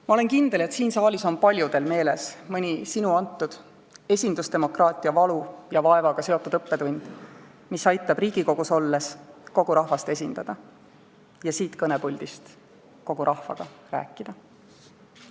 Ma olen kindel, et siin saalis on paljudel meeles mõni sinu antud, esindusdemokraatia valu ja vaevaga seotud õppetund, mis aitab Riigikogus olles kogu rahvast esindada ja siit kõnepuldist kogu rahvaga rääkida.